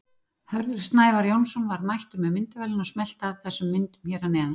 Hörður Snævar Jónsson var mættur með myndavélina og smellti af þessum myndum hér að neðan.